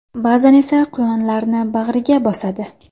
Ba’zan esa quyonlarni bag‘riga bosadi.